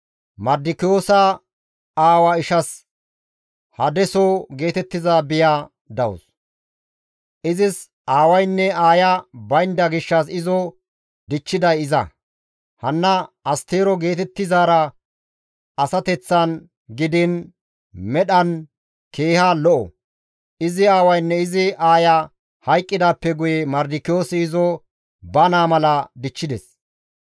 Mardikiyoosa aawa ishas Hadeso geetettiza biya dawus; izis aawaynne aaya baynda gishshas izo dichchiday iza. Hanna Astero geetettizaara asateththan gidiin medhan keeha lo7o. Izi aawaynne izi aaya hayqqidaappe guye Mardikiyoosi izo ba naa mala dichchides.